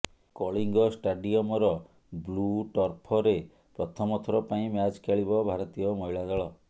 କଳିଙ୍ଗ ଷ୍ଟାଡିଅମର ବ୍ଲୁ ଟର୍ଫରେ ପ୍ରଥମ ଥର ପାଇଁ ମ୍ୟାଚ ଖେଳିବ ଭାରତୀୟ ମହିଳା ଦଳ